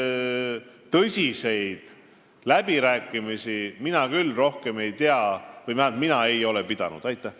Hetkel tõsiseid läbirääkimisi mina küll rohkem ei tea või vähemalt ei ole mina neid pidanud.